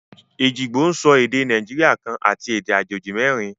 Ejìgbò ń sọ èdè Nàìjíríà kan àti èdè àjèjì merin